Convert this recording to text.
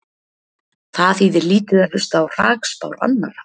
Það þýðir lítið að hlusta á hrakspár annarra.